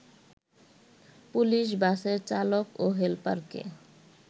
police বাসের চালক ও হেলপারকে